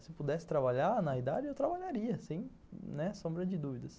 Se eu pudesse trabalhar na idade, eu trabalharia, sem sombra de dúvidas.